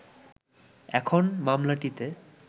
এখন মামলাটিতে